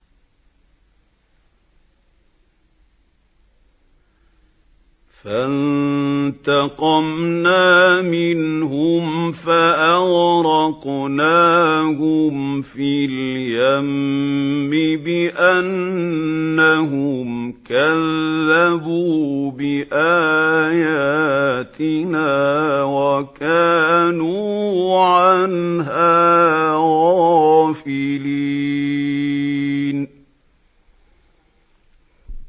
فَانتَقَمْنَا مِنْهُمْ فَأَغْرَقْنَاهُمْ فِي الْيَمِّ بِأَنَّهُمْ كَذَّبُوا بِآيَاتِنَا وَكَانُوا عَنْهَا غَافِلِينَ